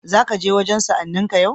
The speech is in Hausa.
Za ka je wajen sa'anninka yau?